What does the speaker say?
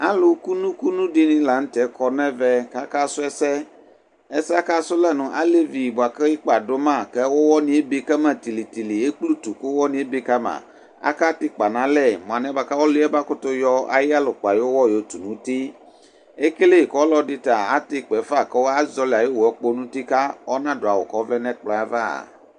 Alu kunu kunu dini la kɔ nu ɛvɛ kaka su ɛsɛ ɛsɛ aka su yɛ nu alevi buaku ikpa duma ku uwɔ ebekama ekple utu ku uwɔ asi tili tili akatɛ ikpa nalɛ ɔliɛ mayɔ ayi yalɛ ayɔ iyalɛkpa yɔtu nu uti ekele ku ɔlɔdi ta atɛ ikpɛfa kazoli ayiwɔ yɛ lɛnu uti ku ona du awu kɔvlɛ nu ɛkplɔ yɛ aʋa